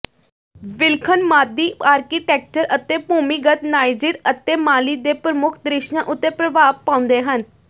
ਵਿਲੱਖਣ ਮਾਦੀ ਆਰਕੀਟੈਕਚਰ ਅਤੇ ਭੂਮੀਗਤ ਨਾਈਜੀਰ ਅਤੇ ਮਾਲੀ ਦੇ ਪ੍ਰਮੁੱਖ ਦ੍ਰਿਸ਼ਾਂ ਉੱਤੇ ਪ੍ਰਭਾਵ ਪਾਉਂਦੇ ਹਨ